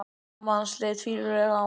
Amma hans leit fýlulega á hann.